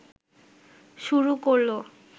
শুরু করলো